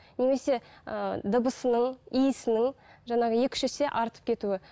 немесе ыыы дыбысының иісінің жаңағы екі үш есе артып кетуі